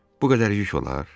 Bu qədər yük olar?